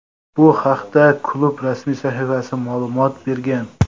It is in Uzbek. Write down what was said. Bu haqda klub rasmiy sahifasi ma’lumot bergan.